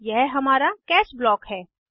यह हमारा catch block है